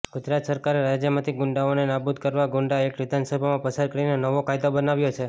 ગુજરાત સરકારે રાજ્યમાંથી ગુંડાઓને નાબુદ કરવા ગુંડા એક્ટ વિધાનસભામાં પસાર કરીને નવો કાયદો બનાવ્યો છે